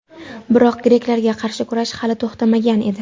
Biroq greklarga qarshi kurash hali to‘xtamagan edi.